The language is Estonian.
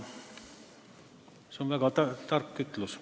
See on väga tark ütlus.